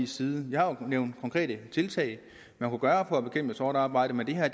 side jeg har jo nævnt konkrete tiltag man kunne gøre for at bekæmpe sort arbejde men det her